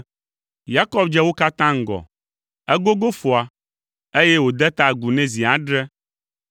Yakob dze wo katã ŋgɔ. Egogo foa, eye wòde ta agu nɛ zi adre.